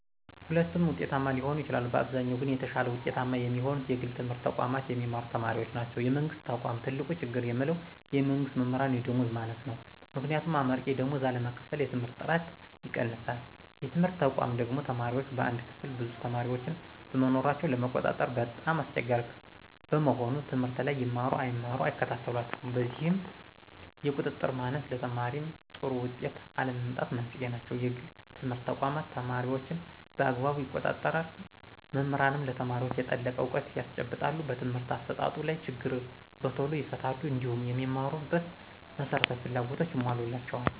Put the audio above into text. ሁለቱም ውጤታማ ሊሆኑ ይችላሉ። በአብዛኛው ግን የተሻለ ውጤታማ የሚሆኑት የግል ትምህርት ተቋማት የሚማሩ ተማሪዎች ናቸው። የመንግስት ተቆም ትልቁ ችግር የምለው የመንግስት መምህራን የደመወዝ ማነስ ነው። ምክንያቱም አመርቂ ደመወዝ አለመከፈል የትምህርትን ጥራት ይቀንሳል። የትምህርት ተቋማ ደግሞ ተማሪዎች በአንድ ክፍል ብዙ ተማሪዎችን በመኖራቸው ለመቆጣጠር በጣም አስቸጋሪ በመሆኑ ትምህርት ላይ ይማሩ አይማሩ አይከታተሏቸውም። በዚህም የቁጥጥር ማነስ ለተማሪዎይ ጥሩ ውጤት አለመምጣት መንስኤ ናቸው። የግል ትምህርት ተቋማት ተማሪዎችን በአግባቡ ይቆጣጠራሉ መምህራንም ለተማሪዎች የጠለቀ እውቀት ያስጨብጣሉ በትምህርት አሰጣጡ ላይ ችግር በቶሎ ይፈታሉ። እንዲሁም የሚማሩበት መሰረታዊ ፍላጎቶች ይሞላላቸዎል